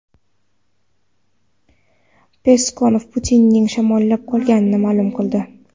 Peskov Putinning shamollab qolganini ma’lum qildi.